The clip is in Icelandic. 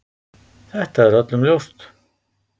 Þetta er öllum ljóst.